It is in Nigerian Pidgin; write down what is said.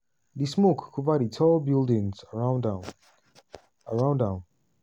di smoke cover di tall buildings around am. around am.